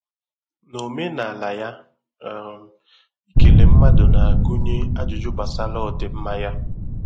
Na omenala ya, um ikele mmadụ na-agụnye ajụjụ gbasara ọdịmma ya.